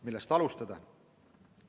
Millest alustada?